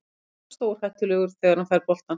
Alltaf stórhættulegur þegar hann fær boltann.